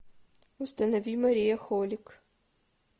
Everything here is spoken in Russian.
установи мария холик